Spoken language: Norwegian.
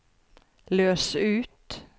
løs ut